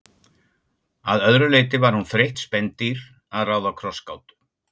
Að öðru leyti var hún þreytt spendýr að ráða krossgátu.